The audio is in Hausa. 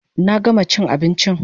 Na gama chin abinchin